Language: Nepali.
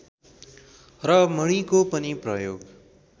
र मणिको पनि प्रयोग